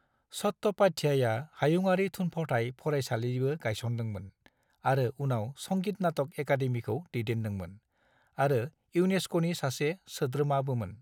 चट्ट'पाध्याया हायुङारि थुनफावथाय फरायसालिबो गायसनदोंमोन आरो उनाव संगीत नाटक एकादेमीखौ दैदेनदोंमोन, आरो इउनेस्क'नि सासे सोद्रोमाबोमोन।